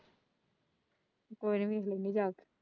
ਕੋਈ ਨਹੀਂ ਜਾ।